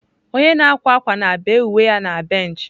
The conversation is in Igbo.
Onye na-akwa akwa na-bee uwe ya na bench.